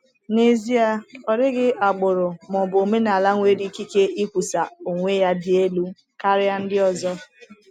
N’ezie, ọ dịghị agbụrụ ma ọ bụ omenala nwere ikike ikwusa onwe ya dị elu karịa ndị ọzọ.